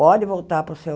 Pode voltar para o seu...